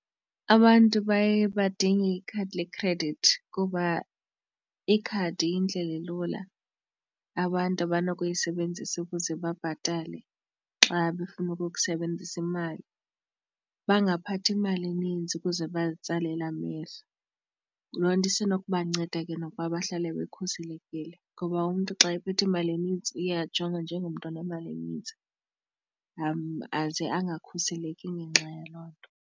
Abantu baye badinge ikhadi le-credit kuba ikhadi yindlela elula abantu abanokuyisebenzisa ukuze babhatale xa befuna ukukusebenzisa imali. Bangaphathi imali enintsi ukuze bazitsalele amehlo, loo nto isenokubanceda ke nokuba bahlale bekhuselekile ngoba umntu xa ephethe imali enintsi uye ajongwe njengomntu onemali enintsi aze angakhuseleki ngenxa yaloo nto.